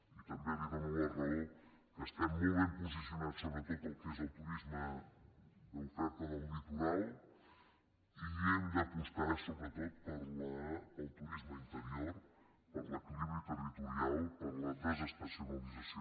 i també li dono la raó que estem molt ben posicionats sobretot pel que és el turisme d’oferta del litoral i hem d’apostar sobretot pel turisme interior per l’equilibri territorial per la desestacionalització